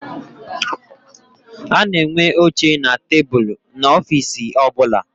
A na-enwe oche na tebulu n'ofiisi ọbụla.